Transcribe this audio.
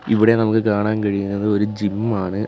ഇവിടെ നമുക്ക് കാണാൻ കഴിയുന്നത് ഒരു ജിം ആണ്.